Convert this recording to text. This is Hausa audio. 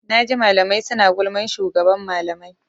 Naji malamai suna gulman shugaban malamai.